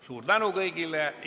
Suur tänu kõigile!